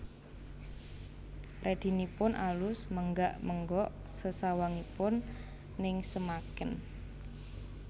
Redinipun alus menggak menggok sesawanganipun nengsemaken